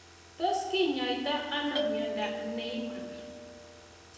Tos kinyoitoi ano miondop Niemann Pick